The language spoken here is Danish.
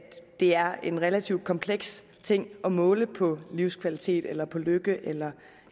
er en relativt kompleks ting at måle på livskvalitet eller lykke eller